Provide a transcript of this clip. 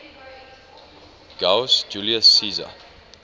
gaius julius caesar